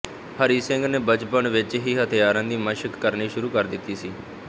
ਹਰੀ ਸਿੰਘ ਨੇ ਬਚਪਨ ਵਿੱਚ ਹੀ ਹਥਿਆਰਾਂ ਦੀ ਮਸ਼ਕ ਕਰਨੀ ਸ਼ੁਰੂ ਕਰ ਦਿੱਤੀ ਸੀ